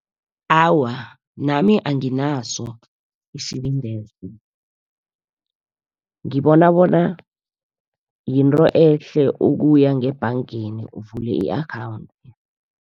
Awa, nami anginaso isibindeso, ngibona bona yinto ehle ukuya ngebhangeni uvule i-akhawunthi.